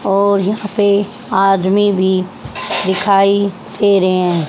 और यहां पे आदमी भी दिखाई दे रहे हैं।